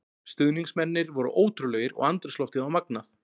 Stuðningsmennirnir voru ótrúlegir og andrúmsloftið var magnað.